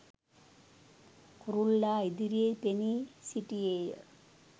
කුරුල්ලා ඉදිරියේ පෙනී සිටියේය